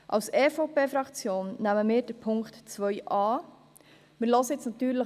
Als EVP-Fraktion nehmen wir den Punkt 2 an.